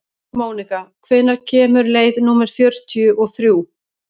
Mónika, hvenær kemur leið númer fjörutíu og þrjú?